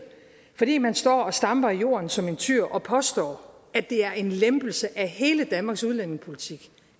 vil jeg man står og stamper i jorden som en tyr og påstår at det er en lempelse af hele danmarks udlændingepolitik